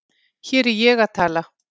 Hér er ég að tala